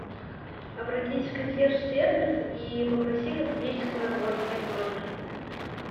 обратись в консьерж сервис и попроси косметический набор мне в номер